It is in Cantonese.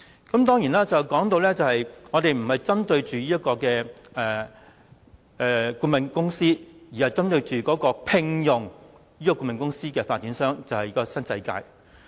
正如我剛才說，議案不是針對顧問公司，而是針對聘用這間顧問公司的發展商，即新世界。